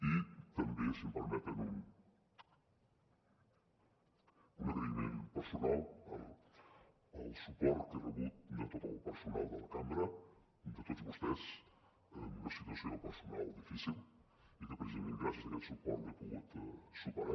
i també si em permeten un agraïment personal al suport que he rebut de tot el personal de la cambra de tots vostès en una situació personal difícil i que precisament gràcies a aquest suport l’he pogut superar